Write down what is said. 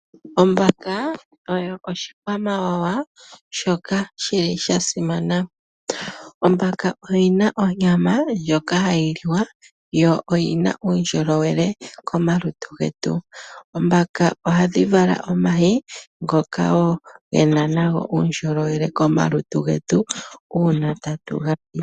Ombaka oyo oshikwamawawa shoka shili sha simana . Ombaka oyina onyama ndjoka hayi liwa yo oyina uundjolowele komalutu getu. Ombaka ohadhi vala omayi ngoka wo gena nago uundjolowele komalutu getu uuna tatu ga li.